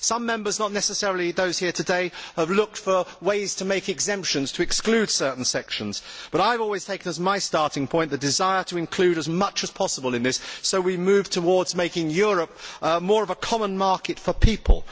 Some Members, not necessarily those here today, have looked for ways to make exemptions to exclude certain sections, but I have always taken as my starting point the desire to include as much as possible in this so we move towards making Europe more of a common market for people.